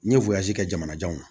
N ye wiyo kɛ jamana janw na